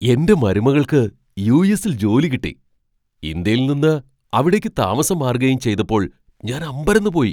എന്റെ മരുമകൾക്ക് യു.എസ്സിൽ ജോലി കിട്ടി ഇന്ത്യയിൽ നിന്ന് അവിടേക്ക് താമസം മാറുകയും ചെയ്തപ്പോൾ ഞാൻ അമ്പരന്നുപോയി.